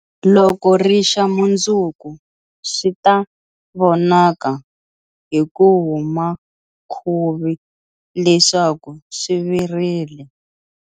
Loko ri xa mundzuku swi ta vonaka hi ku huma khuvi leswaku swi virile.